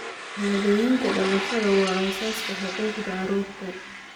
Shahaadooyinka dhalashada waa aasaaska xuquuqda carruurta.